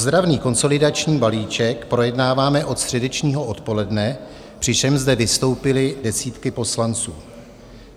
Ozdravný konsolidační balíček projednáváme od středečního odpoledne, přičemž zde vystoupily desítky poslanců.